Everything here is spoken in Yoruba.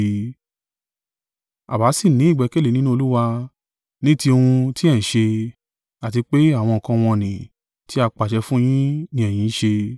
Àwa sì ní ìgbẹ́kẹ̀lé nínú Olúwa ní ti ohun tí ẹ ń ṣe, àti pé àwọn nǹkan wọ̀n-ọn-nì tí a pàṣẹ fún un yín ni ẹ̀yin ń ṣe.